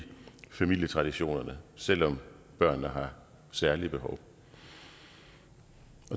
familietraditionerne selv om børnene har særlige behov